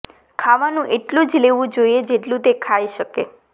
ખાવાનું એટલુ જ લેવુ જોઈએ જેટલુ તે ખાઈ શકે